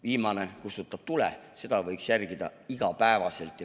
Viimane kustutab tule – seda võiks järgida igapäevaselt.